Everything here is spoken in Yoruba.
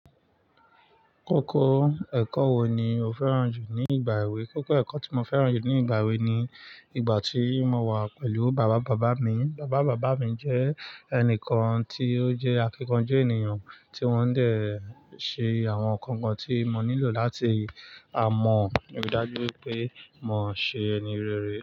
Kókó ẹ̀kọ́ wo ni o fẹ́ràn jù ní ìgbà èwe? Kókó ẹ̀kọ́ tí mo fẹ́ràn jù ní ìgbà èwe ni ìgbà tí mo wà pẹ̀lú bàbá bàbá mi. Bàbá bàbá mi jẹ́ ẹnìkan tí ó jẹ́ akíkanjú ènìyàn, tí wọ́n ń dé ṣe àwọn nǹkan kan tí mo nílò láti ámọ̀. Ríi dájú pé mo ṣe ẹni rere.